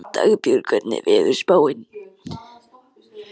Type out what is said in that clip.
Dagbjörg, hvernig er veðurspáin?